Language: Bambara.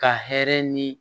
Ka hɛrɛ ni